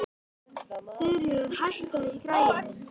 Þuríður, hækkaðu í græjunum.